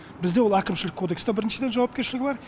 бізде ол әкімшілік кодексте біріншіден жауапкершілігі бар